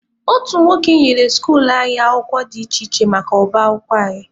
Otu nwoke nyere skuluu anyị akwụkwọ dị iche iche maka ọba akwụkwọ anyị.